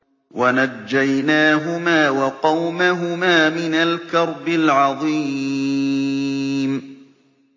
وَنَجَّيْنَاهُمَا وَقَوْمَهُمَا مِنَ الْكَرْبِ الْعَظِيمِ